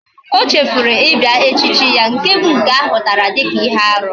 O chefuru ibia echichi ya. Nke bu nke ahutara dika ihe aru